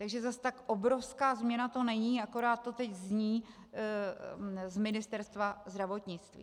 Takže zas tak obrovská změna to není, jen to teď zní z Ministerstva zdravotnictví.